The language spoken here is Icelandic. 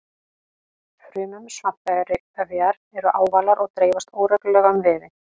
Frumur svampvefjar eru ávalar og dreifast óreglulega um vefinn.